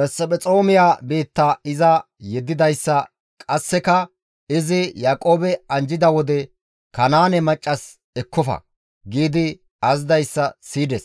Mesphexoomiya biitta iza yeddidayssa qasseka izi Yaaqoobe anjjida wode, «Kanaane maccas ekkofa» gi azazidayssa siyides;